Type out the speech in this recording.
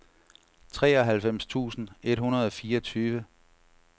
treoghalvfems tusind et hundrede og fireogtyve